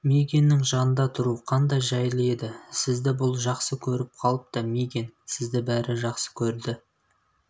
мигэннің жанында тұру қандай жайлы еді сізді бұл жақсы көріп қалыпты мигэн сізді бәрі жақсы көрді